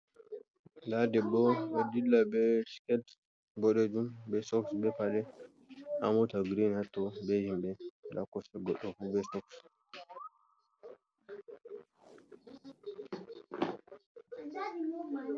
Nda Debbo oɗo dila be chket boɗejum be soks be paɗe ha mota grin hato bo himɓɓe nda kosɗe goɗɗo bo ɗo be soks.